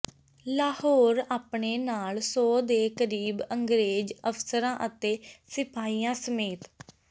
ਲਾਹੌਰ ਆਪਣੇ ਨਾਲ ਸੌ ਦੇ ਕਰੀਬ ਅੰਗਰੇਜ਼ ਅਫਸਰਾਂ ਅਤੇ ਸਿਪਾਹੀਆਂ ਸਮੇਤ